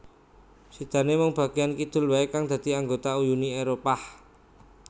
Sidané mung bagéyan kidul waé kang dadi anggota Uni Éropah